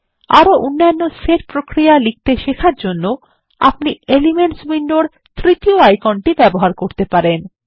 আপনি আরো অন্যান্য সেট প্রক্রিয়া লিখতে শেখার জন্য আপনি এলিমেন্টস উইন্ডোর তৃতীয় আইকনটি ব্যবহার ব্যবহার করতে পারেন